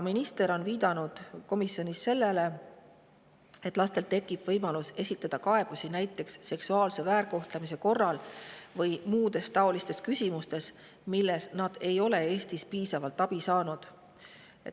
Minister on viidanud komisjonis sellele, et lastel tekib võimalus esitada kaebusi näiteks seksuaalse väärkohtlemise korral või muudes taolistes küsimustes, milles nad ei ole Eestist piisavalt abi saanud.